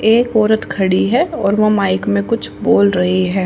एक औरत खड़ी है और वह माइक में कुछ बोल रही है।